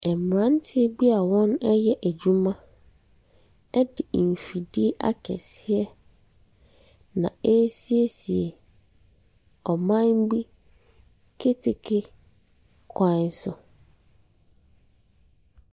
Mmeranteɛ bi a wɔreyɛ adwuma de mfidie akɛseɛ na ɛresiesie ɔman bi keteke kwan so.